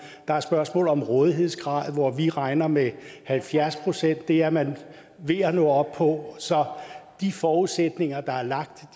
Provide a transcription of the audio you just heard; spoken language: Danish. der er spørgsmål om rådighedsgrad hvor vi regner med halvfjerds procent det er man ved at nå op på så de forudsætninger der er lagt